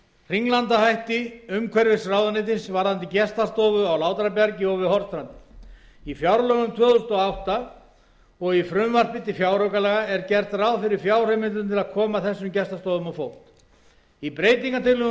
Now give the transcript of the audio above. hringlandahætti umhverfisráðuneytisins varðandi gestastofu á látrabjargi og við hornstrandir í fjárlögum tvö þúsund og átta og frumvarpi til fjáraukalaga er gert ráð fyrir fjárheimildum til að koma þessum gestastofum á fót í breytingartillögum